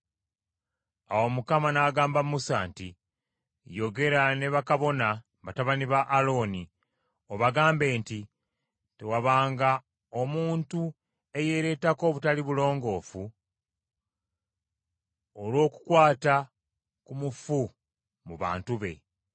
Awo Mukama n’agamba Musa nti, “Yogera ne bakabona, batabani ba Alooni, obagambe nti tewabanga omuntu eyeeretako obutali bulongoofu olw’okukwata ku mufu mu bantu be,